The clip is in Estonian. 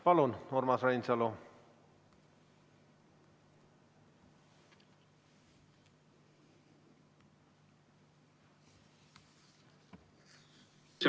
Palun, Urmas Reinsalu!